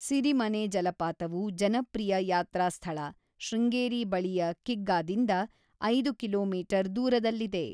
ಸಿರಿಮನೆ ಜಲಪಾತವು ಜನಪ್ರಿಯ ಯಾತ್ರಾಸ್ಥಳ ಶೃಂಗೇರಿ ಬಳಿಯ ಕಿಗ್ಗಾದಿಂದ, ೫ಕಿ .ಮೀ ದೂರದಲ್ಲಿದೆ.